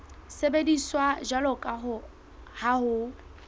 sebediswa jwalo ka ha ho